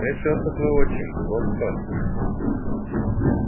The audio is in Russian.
трясётся твой отчим вот что